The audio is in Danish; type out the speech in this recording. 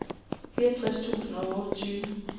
fireogtres tusind og otteogtyve